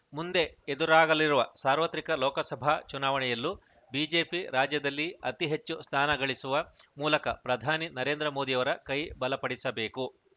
ಮುಂದೆ ಎದುರಾಗಲಿರುವ ಸಾರ್ವತ್ರಿಕ ಲೋಕಸಭಾ ಚುನಾವಣೆಯಲ್ಲೂ ಬಿಜೆಪಿ ರಾಜ್ಯದಲ್ಲಿ ಅತೀ ಹೆಚ್ಚು ಸ್ಥಾನ ಗಳಿಸುವ ಮೂಲಕ ಪ್ರಧಾನಿ ನರೇಂದ್ರ ಮೋದಿಯವರ ಕೈ ಬಲಪಡಿಸಬೇಕು